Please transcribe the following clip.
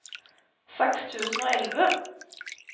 seks tusen og elleve